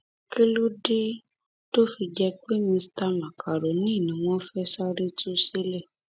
kí ló dé tó fi jẹ pé mista macaroni ni wọn fẹẹ sáré tú sílẹ